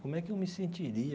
Como é que eu me sentiria?